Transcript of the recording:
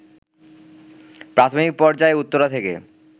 প্রাথমিক পর্যায়ে উত্তরা থেকে